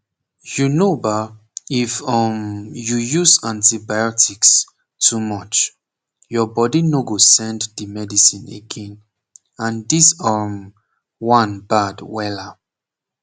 u know ba if um you use antibiotics too much your body no go send the medicine again and this um one bad wella